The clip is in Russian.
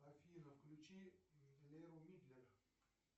афина включи лео мидлер